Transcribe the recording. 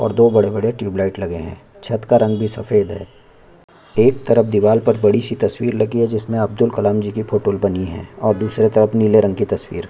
और दो बड़े -बड़े ट्यूब लाइट लगे है छत का रंग ही सफ़ेद है एक तरफ दीवाल पर बड़ी सी तस्वीर लगी है जिसमें अब्दुल कलाम जी की फोटो बनी है और दुसरे तरफ नीले रंग की तस्वीर --